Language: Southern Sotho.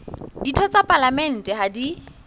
ditho tsa palamente ha di